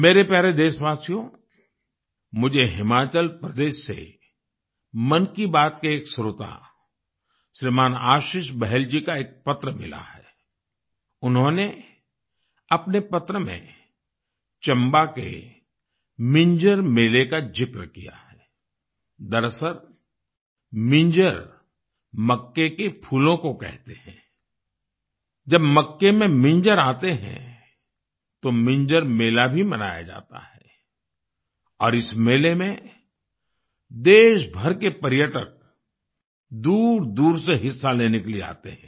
मेरे प्यारे देशवासियो मुझे हिमाचल प्रदेश से मन की बात के एक श्रोता श्रीमान आशीष बहल जी का एक पत्र मिला है आई उन्होंने अपने पत्र में चंबा के मिंजर मेले का जिक्र किया है आई दरअसल मिंजर मक्के के फूलों को कहते हैं आई जब मक्के में मिंजर आते हैं तो मिंजर मेला भी मनाया जाता है और इस मेले में देशभर के पर्यटक दूरदूर से हिस्सा लेने के लिए आते हैं